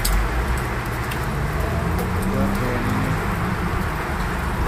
доронину